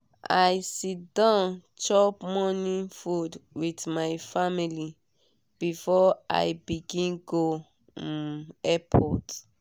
i sit down chop morning food with my family before i before i begin go um airport